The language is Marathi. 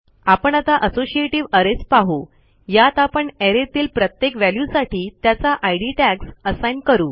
आपण आता असोसिएटिव्ह अरेज पाहू यात आपण arrayतील प्रत्येक व्हॅल्यूसाठी त्याचा इद टॅग्स असाईन करू